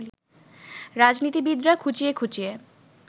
রাজনীতিবিদরা খুঁচিয়ে খুঁচিয়ে